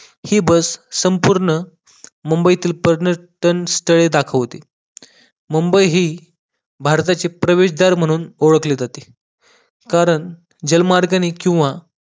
हि बस सम्पूर्ण मुंबईतील पर्यटन स्थळे दाखवते मुंबई हि भारताचे प्रवेशद्वार म्हणून ओडखले जाते कारण जलमार्गाने किंवा